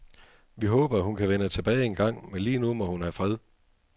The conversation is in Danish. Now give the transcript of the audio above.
Vi håber, at hun kan vende tilbage en gang, men lige nu må hun have fred.